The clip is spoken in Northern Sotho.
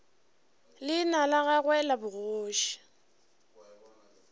leina la gagwe la bogoši